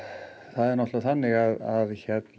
það er þannig að